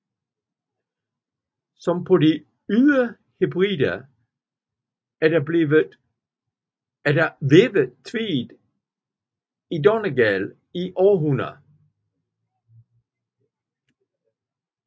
Som på de Ydre Hebrider er der vævet tweed i Donegal i århundreder